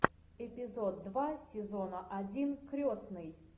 эпизод два сезона один крестный